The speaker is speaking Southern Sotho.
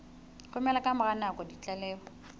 romela ka mora nako ditlaleho